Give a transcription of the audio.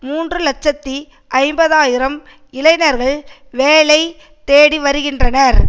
மூன்று இலட்சத்தி ஐம்பது ஆயிரம் இளைஞர்கள் வேலை தேடி வருகின்றனர்